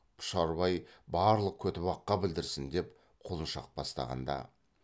пұшарбай барлық көтібаққа білдірсін деп құлыншақ бастағанда